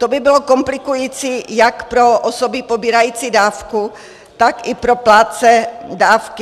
To by bylo komplikující jak pro osoby pobírající dávku, tak i pro plátce dávky.